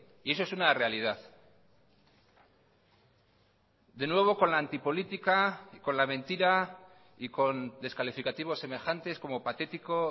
y eso es una realidad de nuevo con la antipolítica con la mentira y con descalificativos semejantes como patético